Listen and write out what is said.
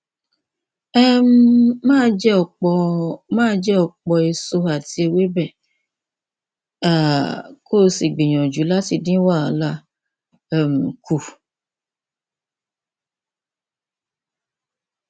um máa jẹ ọpọ máa jẹ ọpọ èso àti ewébẹ um kó o sì gbìyànjú láti dín wàhálà um kù